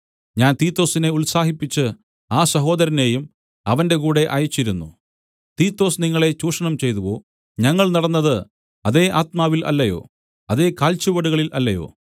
ഞാൻ തീത്തൊസിനെ ഉത്സാഹിപ്പിച്ച് ആ സഹോദരനെയും അവന്റെ കൂടെ അയച്ചിരുന്നു തീത്തൊസ് നിങ്ങളെ ചൂഷണം ചെയ്തുവോ ഞങ്ങൾ നടന്നത് അതേ ആത്മാവിൽ അല്ലയോ അതേ കാൽച്ചുവടുകളിൽ അല്ലയോ